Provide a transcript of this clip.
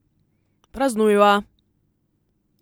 Praznujva.